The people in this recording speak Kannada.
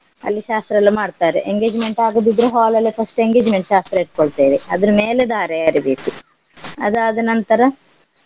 ಅಲ್ಲಿ ಶಾಸ್ತ್ರ ಎಲ್ಲ ಮಾಡ್ತಾರೆ. engagement ಆಗದಿದ್ರೆ hall ಅಲ್ಲೇ first engagement ಶಾಸ್ತ್ರ ಇಟ್ಕೋಳ್ತೆವೆ ಅದ್ರ್ ಮೇಲೆ ಧಾರೆ ಎರಿಬೇಕು ಅದಾದ ನಂತರ.